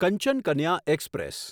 Kanchan Kanya express